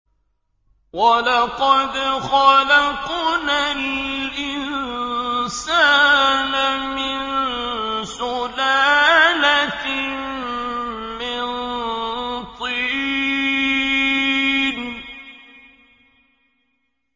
وَلَقَدْ خَلَقْنَا الْإِنسَانَ مِن سُلَالَةٍ مِّن طِينٍ